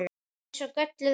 Eins og gölluð vara.